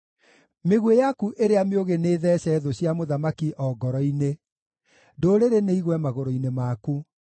Mĩguĩ yaku ĩrĩa mĩũgĩ nĩĩtheece thũ cia mũthamaki o ngoro-inĩ; ndũrĩrĩ nĩigwe magũrũ-inĩ maku.